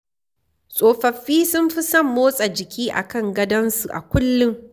Tsofaffi sun fi son motsa jiki a kan gadonsu a kullum.